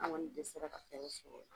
An kɔni dɛsɛla ka hɛrɛ sɔrɔ.